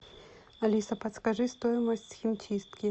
алиса подскажи стоимость химчистки